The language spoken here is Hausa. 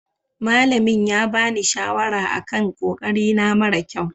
Malamin ya bani shawara a kan ƙoƙari na mara ƙyau.